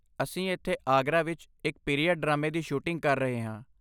ਅਸੀਂ ਇੱਥੇ ਆਗਰਾ ਵਿੱਚ ਇੱਕ ਪੀਰੀਅਡ ਡਰਾਮੇ ਦੀ ਸ਼ੂਟਿੰਗ ਕਰ ਰਹੇ ਹਾਂ।